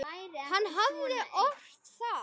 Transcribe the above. Hann hafði ort það.